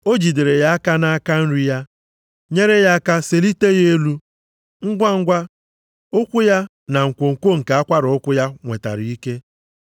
O jidere ya aka nʼaka nri ya, nyere ya aka selite ya elu, ngwangwa, ụkwụ ya na nkwonkwo nke akwara ụkwụ ya nwetara ike.